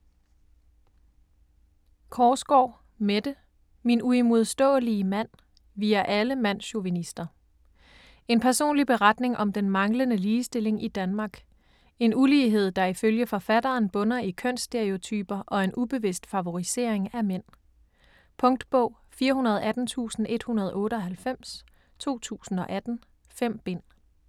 Korsgaard, Mette: Min uimodståelige mand: vi er alle mandschauvinister En personlig beretning om den manglende ligestilling i Danmark. En ulighed der ifølge forfatteren bunder i kønsstereotyper og en ubevidst favorisering af mænd. Punktbog 418198 2018. 5 bind.